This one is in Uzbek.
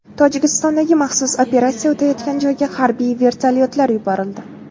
Tojikistondagi maxsus operatsiya o‘tayotgan joyga harbiy vertolyotlar yuborildi.